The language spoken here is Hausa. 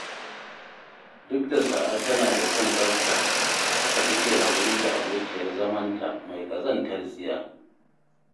Duk da Sa'a tana da son tsafta, haka take haƙuri da abokiyar zamanta mai ƙazantar tsiya